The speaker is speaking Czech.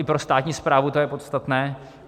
I pro státní správu to je podstatné.